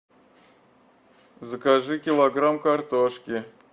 закажи килограмм картошки